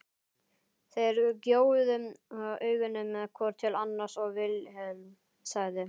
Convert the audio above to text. Þeir gjóuðu augunum hvor til annars og Vilhelm sagði